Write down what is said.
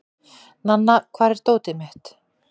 Nanna, hvar er dótið mitt?